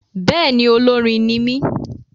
Bẹ́ẹ̀ni, olórin ní mí